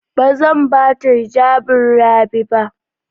Ba zan ba ta hijabin Rabi ba.